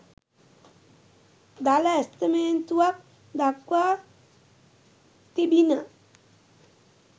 දළ ඇස්තමේන්තුවක් දක්වා තිබිණ